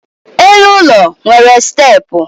elu ụlọ nwere steepụ